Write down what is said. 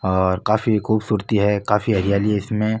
और काफी खूबसुरति है काफी हरियाली है इसमें।